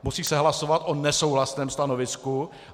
Musí se hlasovat o nesouhlasném stanovisku.